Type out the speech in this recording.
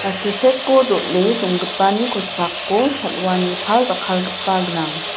silcheko dol·e donggipani kosako sal·wa ni pal jakkalgipa gnang.